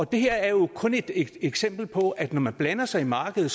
det her er jo kun et eksempel på at når man blander sig i markedet